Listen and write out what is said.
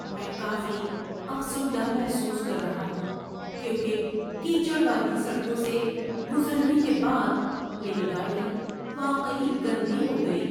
میں کافی افسردہ محسوس کر رہا ہوں کیونکہ کیچڑ والی سڑکوں سے گزرنے کے بعد میری گاڑی واقعی گندی ہو گئی۔